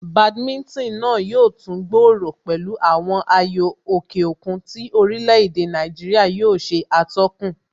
Badminton náà yóò tún gbòòrò pẹ̀lú àwọn ayò òkè òkun tí orílè èdè Nàìjíríà yóò ṣe atọ́kùn